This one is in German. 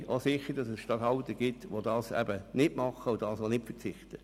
Ich bin aber auch sicher, dass es Regierungsstatthalter gibt, die nicht darauf verzichten.